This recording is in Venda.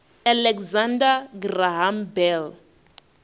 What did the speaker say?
alexander graham bell